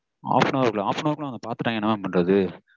half an hour குள்ளவா? half an hour குள்ள அவங்க பாத்துட்டாங்கனா என்ன mam பண்றது?